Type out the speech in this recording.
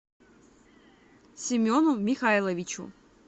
семену михайловичу